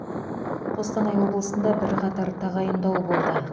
қостанай облысында бірқатар тағайындау болды